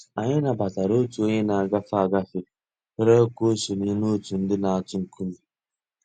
Anyị̀ nabatara Ọ̀tù ònyè nà-àgàfé àgàfé rị̀ọrọ̀ kà ò sọǹyé n'òtù ńdí nà-àtụ̀ ńkùmé̀